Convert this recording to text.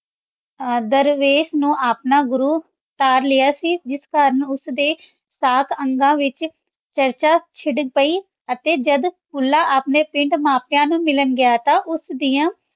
ਦਰਵੇਸ਼ ਨੂ ਆਪਣਾ ਗੁਰੂ ਧਾਰ ਲਾਯਾ ਸੀ ਜਿਸ ਕਰਨ ਓਸਦੇ ਸਾਤ ਅੰਗਾਂ ਵਿਚ ਚਰਚਾ ਚਿਰ ਪੈ ਅਤੀ ਜਦ ਭੁੱਲਾ ਅਪਨੇ ਪਿੰਡ ਮਾਂ ਪਾਯਾ ਨੂ ਮਿਲਣ ਗਯਾ ਤਾਂ ਸਦਿਯਾਂ